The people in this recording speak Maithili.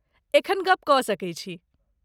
एखन गप कऽ सकैत छी।